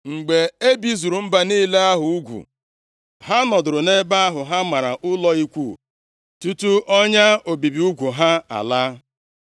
Mgbe e bizuru mba niile ahụ ugwu, ha nọdụrụ nʼebe ahụ ha mara ụlọ ikwu tutu ọnya obibi ugwu ha alaa.